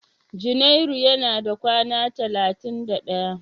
Junairu yana da kawa talatin da ɗaya.